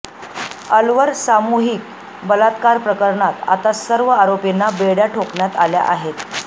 अलवर सामुहिक बलात्कार प्रकरणात आता सर्व आरोपींना बेड्या ठोकण्यात आल्या आहेत